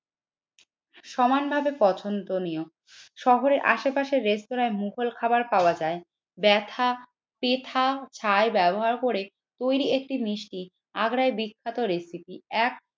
সমানভাবে পছন্দনীয় শহরে আশেপাশের রেস্তোরাঁয় মুঘল খাবার পাওয়া যায় ব্যথা পেথা ছায় ব্যবহার করে তৈরি একটি মিষ্টি আগ্রায় বিখ্যাত রেসিপি এক